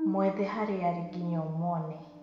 Mwethe harĩa arĩ ginya ũmwone.